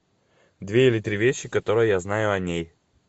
две или три вещи которые я знаю о ней